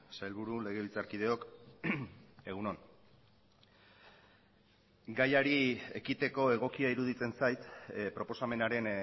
sailburu legebiltzarkideok egun on gaiari ekiteko egokia iruditzen zait proposamenaren